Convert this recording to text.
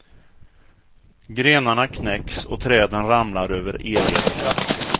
Grenarna knäcks och träden ramlar över elledningar.